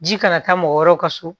Ji kana taa mɔgɔ wɛrɛw ka so